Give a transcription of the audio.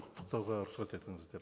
құттықтауға рұқсат етіңіздер